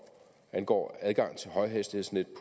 angår adgang til højhastighedsnet